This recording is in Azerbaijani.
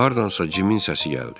Hardansa Cimin səsi gəldi.